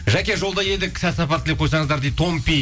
жаке жолда едік сәт сапар тілеп қойсаңыздар дейді томпи